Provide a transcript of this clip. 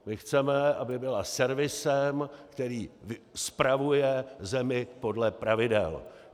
My chceme, aby byla servisem, který spravuje zemi podle pravidel.